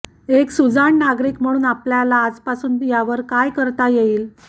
एक सुजाण नागरीक म्हणून आपल्याला आजपासूनच यावर काय करता येईल